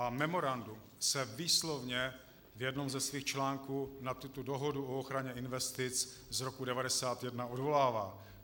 A memorandum se výslovně v jednom ze svých článků na tuto dohodu o ochraně investic z roku 1991 odvolává.